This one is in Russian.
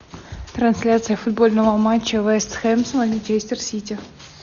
трансляция футбольного матча вест хэмптонс манчестер сити